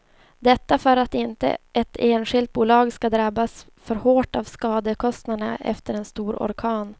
Detta för att inte ett enskilt bolag skall drabbas för hårt av skadekostnaderna efter en stor orkan.